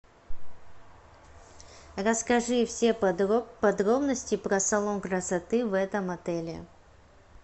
расскажи все подробности про салон красоты в этом отеле